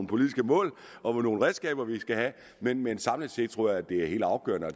politiske mål og redskaber vi skal have men men samlet set tror jeg det er helt afgørende